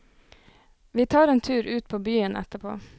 Vi tar en tur ut på byen etterpå.